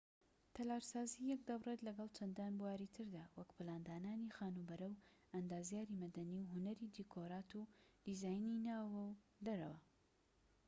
تەلارسازی یەک دەبڕێت لەگەڵ چەندان بواری تردا وەکو پلاندانانی خانوبەرە و ئەندازیاریی مەدەنی و هونەری دیکۆرات و دیزاینی ناوەوە و دەرەوە